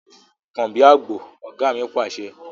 Kàn bí àgbò! Ọ̀gá mi Pàṣẹ.